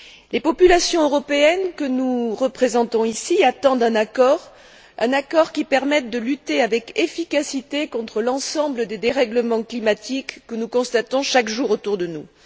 Les populations européennes que nous représentons ici attendent un accord, un accord qui permette de lutter avec efficacité contre l'ensemble des dérèglements climatiques que nous constatons chaque jour autour de nous.